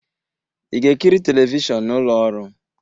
Ị ga-ekiri telivishọn n'ụlọ ọrụ?